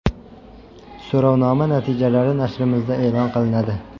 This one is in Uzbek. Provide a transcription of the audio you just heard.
So‘rovnoma natijalari nashrimizda e’lon qilinadi.